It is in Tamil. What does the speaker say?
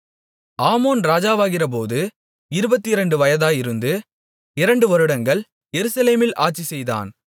ஆமோன் ராஜாவாகிறபோது இருபத்திரண்டு வயதாயிருந்து இரண்டு வருடங்கள் எருசலேமில் ஆட்சிசெய்தான்